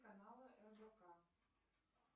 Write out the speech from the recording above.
каналы рбк